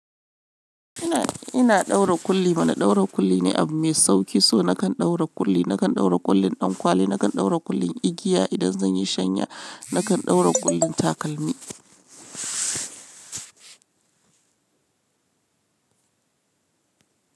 Ina, ina ɗaura kulli. Mana ɗaura kulli ne abu mai sauki, so na kan ɗaura kulli. Na kan ɗaura kullin ɗankwali, na kan ɗaura kullin igiya idan zan yi shanya, na kan ɗaura kullin takalmi.